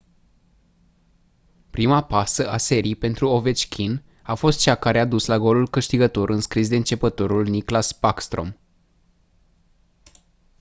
prima pasă a serii pentru ovechkin a fost cea care a dus la golul câștigător înscris de începătorul nicklas backstrom